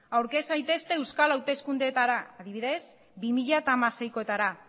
aurkez zaitezte euskal hauteskundeetara adibidez bi mila hamaseikoetara